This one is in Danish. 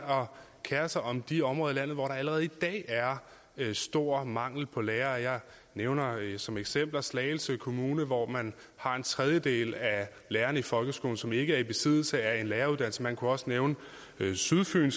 kere sig om de områder i landet hvor der allerede i dag er stor mangel på lærere jeg nævner som eksempler slagelse kommune hvor man har en tredjedel af lærerne i folkeskolen som ikke er i besiddelse af en læreruddannelse man kunne også nævne sydfyn